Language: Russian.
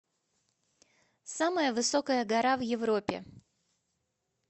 самая высокая гора в европе